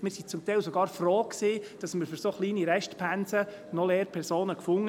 Wir waren zum Teil sogar froh, dass wir für so kleine Restpensen noch Lehrpersonen fanden.